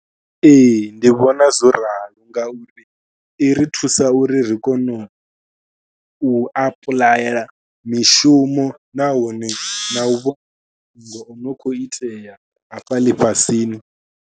Ee ndi vhona zwo ralo ngauri i ri thusa uri ri kone u u apuḽayela mishumo nahone na u vhona zwo no khou itea hafha ḽifhasini.